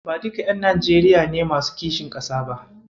Ba duka ƴan Najeriya ne masu kishin ƙasa ba.